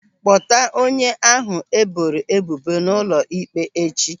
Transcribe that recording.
Kpọta onye ahụ e boro ebubo n'ụlọ ịkpe echi.